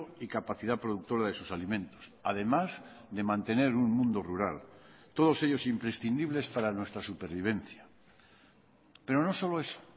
y capacidad productora de sus alimentos además de mantener un mundo rural todos ellos imprescindibles para nuestra supervivencia pero no solo eso